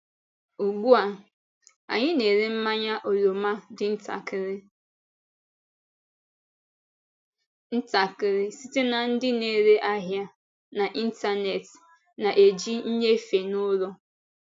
Ugbu a, anyị na-ere mmanya oroma dị ntakịrị ntakịrị site na ndị na-ere ahịa n’ịntanetị na-eji nnyefe n’ụlọ.